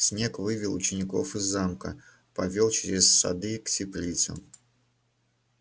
снегг вывел учеников из замка повёл через сады к теплицам